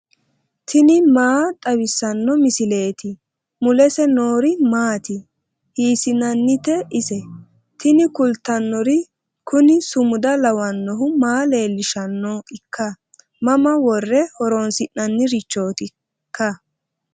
tini maa xawissanno misileeti ? mulese noori maati ? hiissinannite ise ? tini kultannori kuni sumuda lawannohu maa leellishshanoikka mama worre horoonsi'nannirichootikka